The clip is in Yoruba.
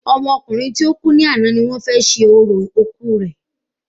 Ọmọ ọkùnrin tó kù ni àná ni wọ́n fé ṣe orò òkú rẹ